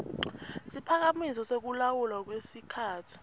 siphakamiso sekulawulwa kwesikhatsi